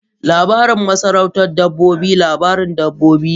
Labarin masarautar dabbobi labarin dabbobi ne.